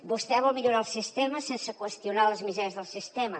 vostè vol millorar el sistema sense qüestionar les misèries del sistema